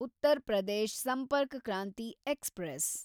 Uttar Pradesh Sampark Kranti express